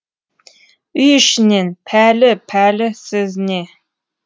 үй ішінен пәлі пәлі сөзіне